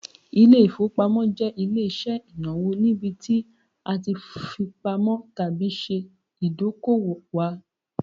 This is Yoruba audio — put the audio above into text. Ilé-ìfowópamọ́ jẹ ile-iṣẹ inawo nibiti a ti fipamọ tabi ṣe idoko-owo wa